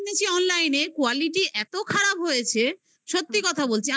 কিনেছি online quality এতো খারাপ হয়েছে. সত্যি কথা বলছি.